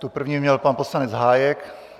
Tu první měl pan poslanec Hájek.